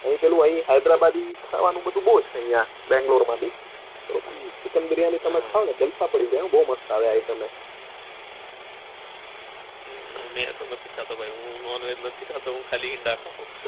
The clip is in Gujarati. અહીં પેલું હૈદરાબાદી ખાવાનું બધું બૌ છે બધું અહીંયા બંગ્લોર મબી ચીકિનબીરીયાની તમે ખાઓ ને તો જલસા પડી જાય હો બૌ મસ્ત item છે હમ હું તો નથી ખાતો ભાઈ non veg નથી ખાતો હું ખાલી.